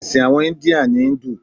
Èsìn àwon India ni Hindu